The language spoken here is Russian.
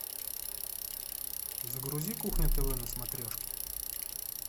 загрузи кухня тв на смотрешке